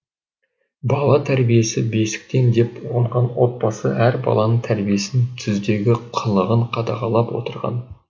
бала тәрбиесі бесіктен деп ұғынған отбасы әр баланың тәрбиесін түздегі қылығын қадағалап отырған